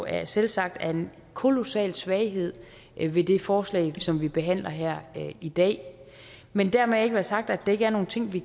jeg selvsagt er en kolossal svaghed ved det forslag som vi behandler her i dag men dermed ikke være sagt at der ikke er nogle ting vi